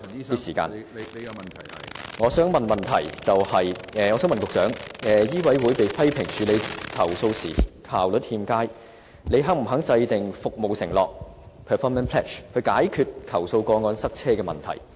我的補充質詢是，醫委會被批評處理投訴效率欠佳，請問局長是否願意制訂服務承諾，以解決投訴個案擁塞的問題？